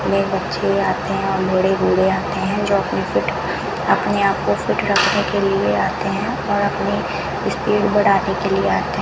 में बच्चे आते हैं और बड़े बूढ़े आते हैं जो अपने फिट अपने आप को फिट रखने के लिए आते हैं और अपने स्पीड बढ़ाने के लिए आते है।